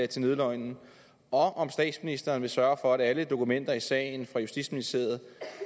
til nødløgnen og om statsministeren vil sørge for at alle dokumenter i sagen fra justitsministeriet